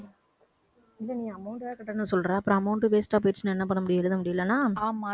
இல்ல நீ amount வேற கட்டணும்னு சொல்ற அப்புறம் amount waste ஆ போயிடுச்சுன்னா என்ன பண்ண முடியும் எழுத முடியலைன்னா